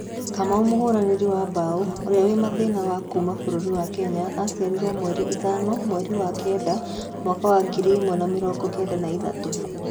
Kamau mũhũranĩri wa Mbao ũrĩa wĩ mathĩna wa kuma bũrũri wa Kenya aciarirwo mweri ithano mweri wa Kenda mwaka wa ngiri ĩmwe na mĩrongo kenda na ithatũ